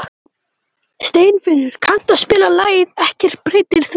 Steinfinnur, kanntu að spila lagið „Ekkert breytir því“?